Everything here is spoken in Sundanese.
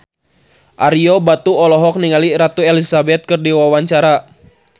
Ario Batu olohok ningali Ratu Elizabeth keur diwawancara